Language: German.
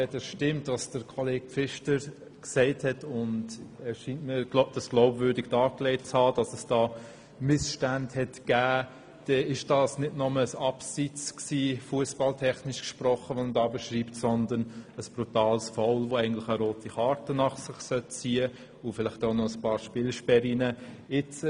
Wenn stimmt, dass es solche Missstände gab wie Kollege Pfister gesagt und auch glaubwürdig dargelegt hat, dann war das, fussballtechnisch gesprochen, nicht nur ein Abseits, sondern ein brutales Foul, das eine rote Karte und vielleicht auch noch einige Spielersperren nach sich ziehen sollte.